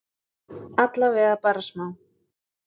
Allavega bara smá?